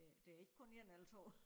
Det er ikke kun 1 eller 2